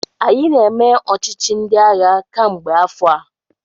Anyị na-eme ọchịchị ndị agha kemgbe afọ a.